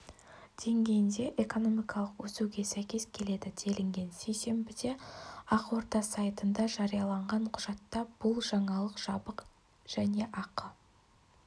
деңгейінде экономикалық өсуге сәйкес келеді делінген сейсенбіде ақорда сайтында жарияланған құжатта бұл жаңалық жабық және ақы